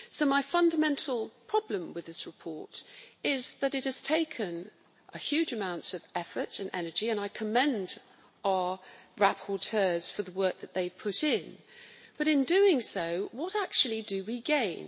My fundamental problem with this report is that it has taken a huge amount of effort and energy and I commend our rapporteurs for the work that they've put in but in doing so, what actually do we gain?